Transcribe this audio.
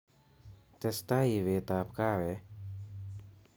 Testai ibetab kahawek